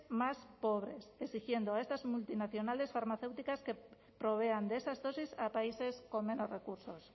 más pobres exigiendo a estas multinacionales farmacéuticas que provean de esas dosis a países con menos recursos